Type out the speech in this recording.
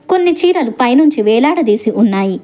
కొన్ని చీరలు పైనుంచి వేలాడదీసి ఉన్నాయి.